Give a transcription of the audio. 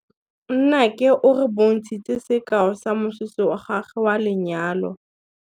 Nnake o re bontshitse sekaô sa mosese wa gagwe wa lenyalo.